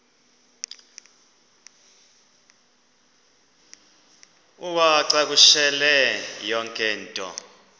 uwacakushele yonke into